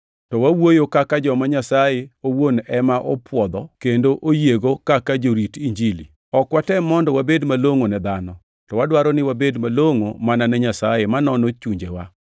To wawuoyo kaka joma Nyasaye owuon ema opwodho kendo oyiego kaka jorit Injili. Ok watem mondo wabed malongʼo ne dhano, to wadwaro ni wabed malongʼo mana ne Nyasaye ma nono chunjewa.